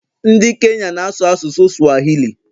Ndị Kenya na-asụ asụsụ Swahili